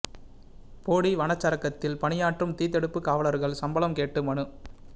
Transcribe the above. போடி வனச்சரகத்தில் பணியாற்றும் தீ தடுப்பு காவலர்கள் சம்பளம் கேட்டு மனு